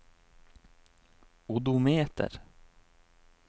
odometer